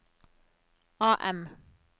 AM